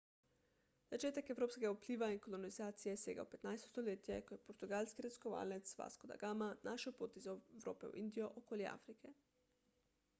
začetek evropskega vpliva in kolonizacije sega v 15 stoletje ko je portugalski raziskovalec vasco da gama našel pot iz evrope v indijo okoli afrike